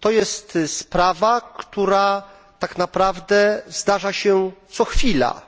To jest sprawa, która tak naprawdę zdarza się co chwila,